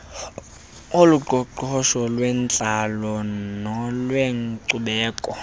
oloqoqosho olwentlalo nolwenkcubeko